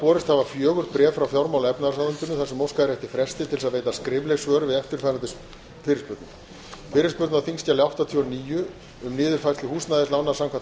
borist hafa fjögur bréf frá fjármála og efnahagsráðuneytinu þar sem óskað er eftir fresti til að veita skrifleg svör við eftirfarandi fyrirspurnum fyrirspurn á þingskjali áttatíu og níu um niðurfærslu húsnæðislána samkvæmt